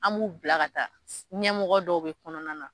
An b'u bila ka taa ɲɛmɔgɔ dɔw bɛ kɔnɔna na